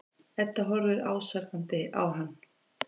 Edda horfir ásakandi á hann.